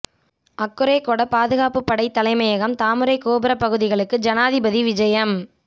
அக்குரேகொட பாதுகாப்பு படை தலைமையகம் தாமரைக் கோபுரப்பகுதிகளுக்கு ஜனாதிபதி விஐயம்